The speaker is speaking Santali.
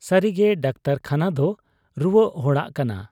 ᱥᱟᱹᱨᱤᱜᱮ ᱰᱟᱠᱛᱚᱨᱠᱷᱟᱱᱟᱫᱚ ᱨᱩᱣᱟᱹᱜ ᱦᱚᱲᱟᱜ ᱠᱟᱱᱟ ᱾